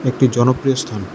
একটি জনপ্রিয় স্থান।